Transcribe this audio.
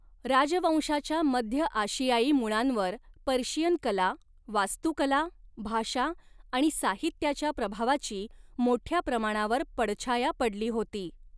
राजवंशाच्या मध्य आशियाई मुळांवर पर्शियन कला, वास्तुकला, भाषा आणि साहित्याच्या प्रभावाची मोठ्या प्रमाणावर पडछाया पडली होती.